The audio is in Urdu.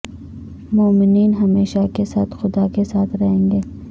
مومنین ہمیشہ کے ساتھ خدا کے ساتھ رہیں گے